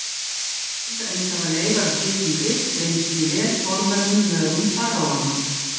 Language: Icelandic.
Til dæmis hafa leifar af slíkum drykk greinst í vel forvörðum mögum faraóanna.